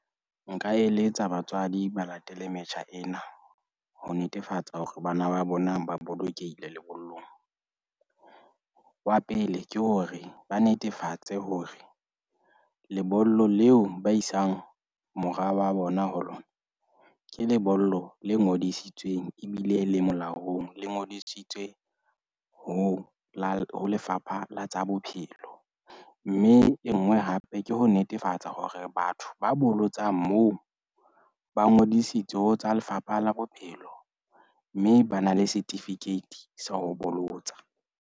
Nka eletsa batswadi ba latele metjha ena ho netefatsa hore bana ba bona ba bolokehile lebollong. Wa pele, ke hore ba netefatse hore lebollo leo ba isang mora wa bona ho lona, ke lebollo le ngodisitsweng ebile le molaong. Le ngodisitswe ho lo Lefapha la tsa Bophelo. Mme e nngwe hape ke ho netefatsa hore batho ba bolotsang moo ba ngodisitswe ho tsa Lefapha la Bophelo. Mme ba na le certificate sa ho bolotsa.